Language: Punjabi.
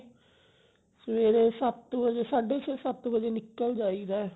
ਸਵੇਰੇ ਸੱਤ ਵਜੇ ਸਾਡੇ ਛੇ ਸੱਤ ਵਜੇ ਨਿਕਲ ਜਾਈਦਾ